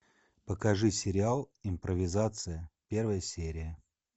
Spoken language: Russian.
покажи сериал импровизация первая серия